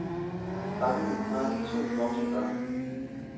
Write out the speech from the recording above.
Sammen har de to voksne børn.